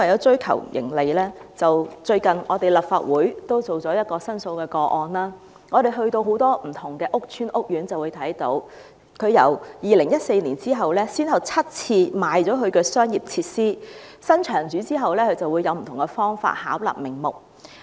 最近立法會處理了一宗申訴個案，我們到訪很多屋邨和屋苑，看到領展由2014年起，先後7次出售其商業設施，而新場主以不同方法巧立名目。